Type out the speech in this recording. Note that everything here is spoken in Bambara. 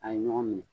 A ye ɲɔgɔn minɛ